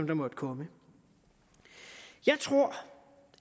der måtte komme jeg tror